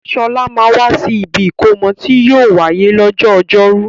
Sọlá máa wà sì ibi ìkómọ tí yìí ó wáyé lọ́jọ́ ọjọ́rú